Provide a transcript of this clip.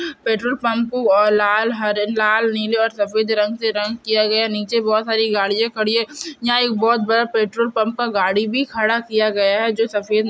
petrol pump को लाल हर लाल नीले सफेद रंग से रंग किया गया है नीचे बहुत सारी गड़ियाँ खड़ी हैं यहाँ एक बहुत बड़ा पेट्रोल पंप पे गाड़ी भी खड़ा किया गया है जो सफेद --